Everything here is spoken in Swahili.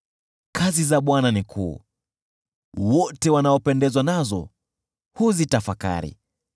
Kazi za Bwana ni kuu, wote wanaopendezwa nazo huzitafakari.